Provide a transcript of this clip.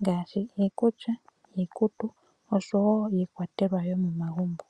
ngaashi iikulya, iikutu oshowo iikwatelwa yomomagumbo.